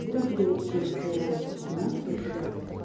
грибы это тоже природа понимаешь какая фигня